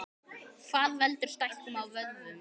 Hvað veldur stækkun á vöðvum?